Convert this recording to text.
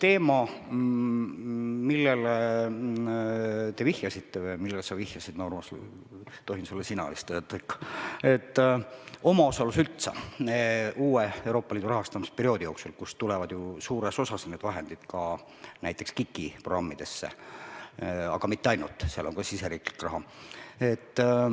Eks teema, millele te vihjasite või millele sa vihjasid, Urmas – tohin sulle vist ikka sina öelda –, omaosalus uue Euroopa Liidu rahastamisperioodi jooksul, kust tulevad ju suures osas need vahendid ka näiteks KIK-i programmidesse, aga mitte ainult, seal on ka siseriiklik raha.